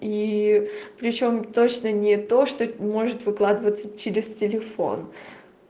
и причём точно не то что может выкладываться через телефон